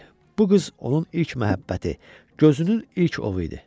Bu qız onun ilk məhəbbəti, gözünün ilk ovu idi.